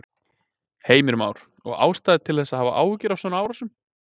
Heimir Már: Og ástæða til að hafa áhyggjur af svona árásum?